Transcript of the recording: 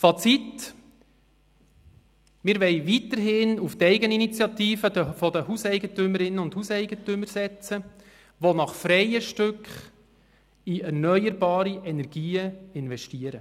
Fazit: Wir wollen weiterhin auf die Eigeninitiative der Hauseigentümerinnen und Hauseigentümer setzen, die nach freien Stücken in erneuerbare Energien investieren.